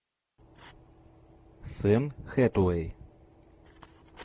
с энн хэтэуэй